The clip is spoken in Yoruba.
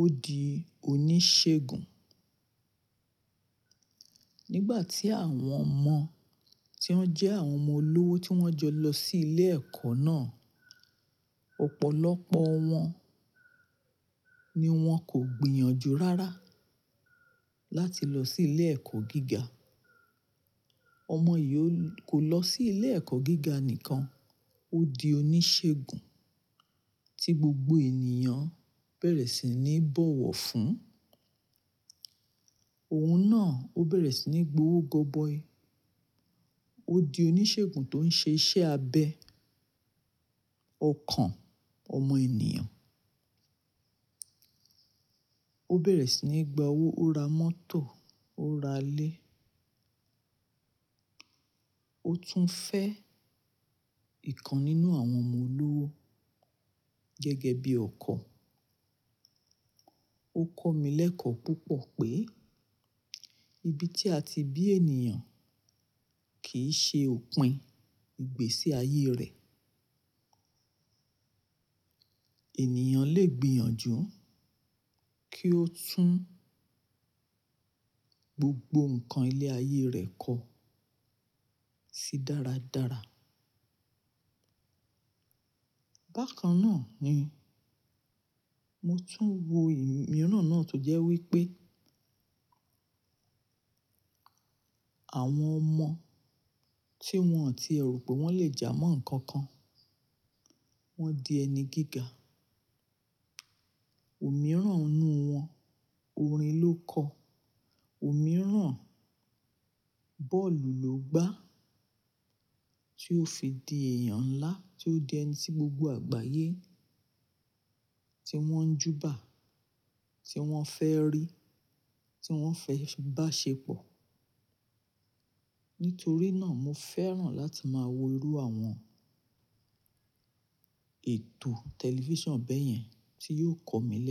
Ó di oníṣègùn. Nígbà tí àwọn ọmọ tí wọ́n jẹ́ àwọn ọmọ olówó tí wọ́n jọ lọ sí ilé ẹ̀kọ́ náà, ọ̀pọ̀lọpọ̀ wọn ni wọ́n kò gbìyànjú rárá láti lọ sí ilé ẹ̀kọ́ gíga. Ọmọ yìí ó ko lọ sí ilé ẹ̀kọ́ gíga nìkan. Ó di oníṣègùn tí gbogbo ènìyàn bẹ̀rẹ̀ sí ní bọ̀wọ̀ fún. Òun náà ó bẹ̀rẹ̀ sí ní gbowó gọbọi. Ó di oníṣègùn tó ń ṣe iṣẹ́ abẹ ọkàn ọmọ ènìyàn. Ó bẹ̀rẹ̀ sí ní gba owó, ó ra mọ́tò, ó ra ilé. Ó tún fẹ́ ìkan nínú àwọn ọmọ olówó gẹ́gẹ́ bí ọkọ. Ó kọ́ mi lẹ́kọ̀ọ́ púpọ̀ pé ibi tí a ti bí ènìyàn kì í ṣe òpin ìgbésí ayé rẹ̀. Ènìyàn lè gbìyànjú kí ó tún gbogbo nǹkan ilé ayé rẹ̀ kọ sí dáradára. Bákan náà ni mo tún wo ìmiran náà tó jẹ́ wípé àwọn ọmọ tí wọn ò tíẹ rò pé wọ́n lè jà mọ́ nnkan kan, wọ́n di ẹni gíga. Òmíràn inú wọn orin ló kọ, òmíràn bọ́ọ̀lù ló gbá tí ó fi di èèyàn nlá tí ó di ẹni tí gbogbo àgbáyé tí wọ́n ń júbà, tí wọ́n fẹ́ rí, tí wọ́n fẹ́ bá ṣe pọ̀. Nítorí náà mo fẹ́ràn láti máa wo irú àwọn ètò tẹlifíṣàn bẹ́ẹ̀ yẹn tí yóò kọ́ mi lẹ́kọ̀ọ́.